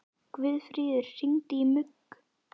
Guðfríður, hringdu í Mugg.